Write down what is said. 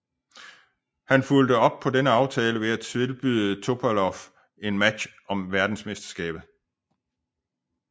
Han fulgte op på denne aftale ved at tilbyde Topalov en match om verdensmesterskabet